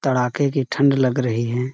तड़ाके की ठंड लग रही हैं।